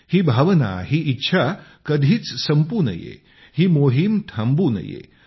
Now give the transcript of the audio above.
ही भावना ही इच्छा कधीच संपू नये ही मोहीम थांबू नये